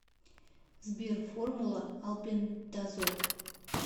сбер формула албендазол